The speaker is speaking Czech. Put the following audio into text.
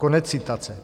Konec citace.